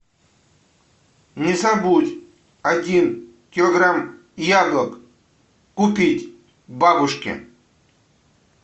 не забудь один килограмм яблок купить бабушке